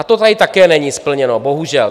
A to tady také není splněno, bohužel.